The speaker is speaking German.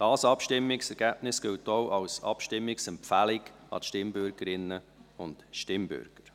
Dieses Abstimmungsergebnis gilt auch als Abstimmungsempfehlung zuhanden der Stimmbürgerinnen und Stimmbürger.